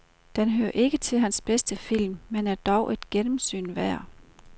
Den hører ikke til hans bedste film, men er dog et gennemsyn værd.